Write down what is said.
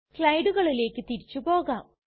സ്ലയ്ടുകളിലേക്ക് തിരിച്ചു പോകാം